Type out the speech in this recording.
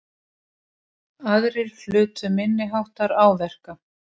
Aðrir hlutu minniháttar áverka